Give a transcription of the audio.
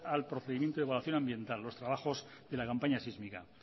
al procedimiento de evaluación ambiental los trabajos de la campaña sísmica